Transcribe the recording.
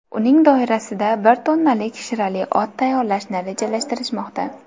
Uning doirasida bir tonnalik shirali ot tayyorlashni rejalashtirishmoqda.